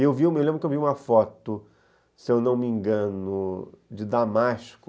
E eu lembro que eu vi uma foto, se eu não me engano, de Damasco,